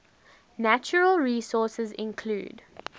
natural resources include